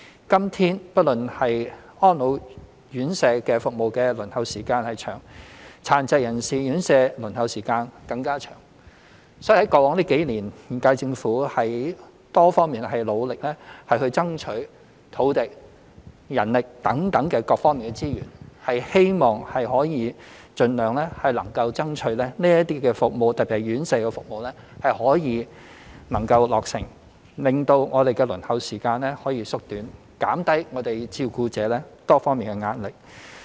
今天，安老院舍服務輪候時間長，殘疾人士院舍輪候時間更加長，所以過往數年，現屆政府從多方面努力爭取土地、人力等各方面資源，希望可以盡量能夠爭取這些服務——特別是院舍照顧服務——得以能夠落成，令輪候時間可以縮短，減輕照顧者多方面的壓力。